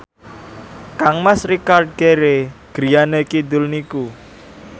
kangmas Richard Gere griyane kidul niku